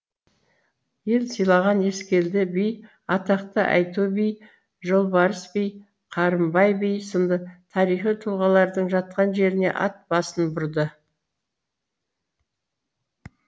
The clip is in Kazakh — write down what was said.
ел сыйлаған ескелді би атақты айту би жолбарыс би қарымбай би сынды тарихи тұлғалардың жатқан жеріне ат басын бұрды